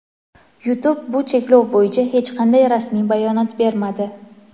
YouTube bu cheklov bo‘yicha hech qanday rasmiy bayonot bermadi.